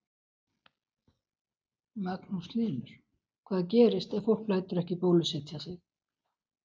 Magnús Hlynur: Hvað gerist ef fólk lætur ekki bólusetja sig?